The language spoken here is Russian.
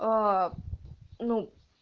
аа ну